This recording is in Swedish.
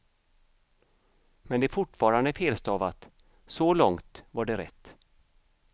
Men det är fortfarande felstavat, så långt var det rätt.